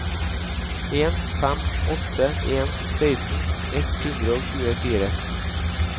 en fem åtte en seksten ett hundre og tjuefire